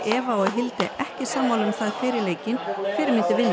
Eva og Hilde ekki sammála um það fyrir leikinn hver myndi vinna